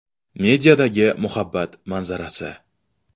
Mediadagi muhabbat manzarasi.